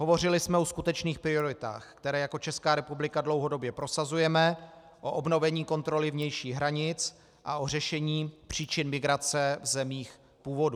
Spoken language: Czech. Hovořili jsme o skutečných prioritách, které jako Česká republika dlouhodobě prosazujeme, o obnovení kontroly vnějších hranic a o řešení příčin migrace v zemích původu.